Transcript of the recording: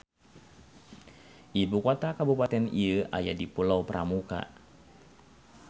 Ibu kota kabupaten ieu aya di Pulau Pramuka.